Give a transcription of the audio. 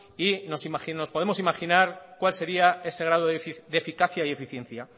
y nos podemos imaginar cuál sería ese grado de eficacia y de eficiencia